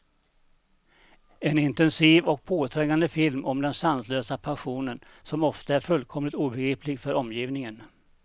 En intensiv och påträngande film om den sanslösa passionen, som ofta är fullkomligt obegriplig för omgivningen.